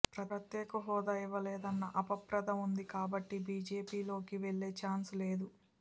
ప్రత్యేక హోదా ఇవ్వలేదన్న అపప్రధ ఉంది కాబట్టి బీజేపీలోకి వెళ్లే ఛాన్సే లేదు